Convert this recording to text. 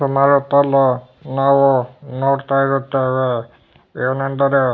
ಸುಮಾರು ಹೊತ್ತು ಅಲ್ಲೂ ನಾವು ನೋಡ್ತಾ ಇರುತೇವೆ ಏನೆಂದರೆ --